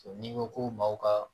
N'i ko ko maaw ka